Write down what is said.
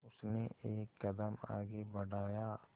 उसने एक कदम आगे बढ़ाया